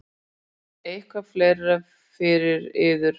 Eitthvað fleira fyrir yður?